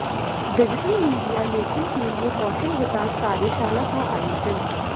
digital media लेखन के लिए कौशल विकास कार्यशाला का आयोजन